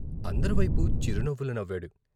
అందరివైపు చిరునవ్వులు నవ్వాడు.